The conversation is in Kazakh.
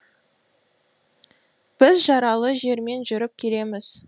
біз жаралы жермен жүріп келеміз